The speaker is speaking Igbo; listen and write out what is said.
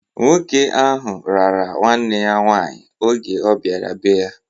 Nwoke ahụ rara nwanne ya nwaanyị oge ọbiara be-ya.